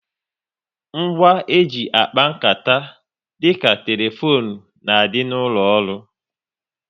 Ngwa e ji akpa nkata dịka telefone n'adi n'ụlọ ọrụ